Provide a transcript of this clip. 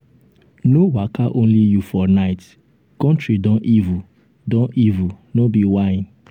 no waka only you for night country don evil don evil no be whine.